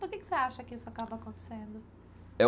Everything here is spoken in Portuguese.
Por que que você acha que isso acaba acontecendo?